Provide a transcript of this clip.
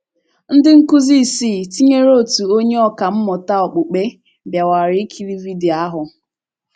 Ndị nkụzi isii — tinyere otu onye ọkà mmụta okpukpe — bịakwara ikiri vidio ahụ.